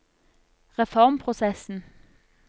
reformprosessen